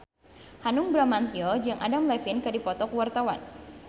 Hanung Bramantyo jeung Adam Levine keur dipoto ku wartawan